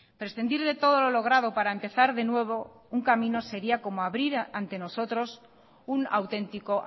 prescindir de todo lo logrado para empezar de nuevo un camino sería como abrir ante nosotros un auténtico